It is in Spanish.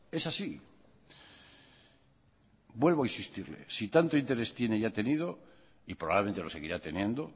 es así vuelvo a insistirle si tanto interés tiene y ha tenido y probablemente lo seguirá teniendo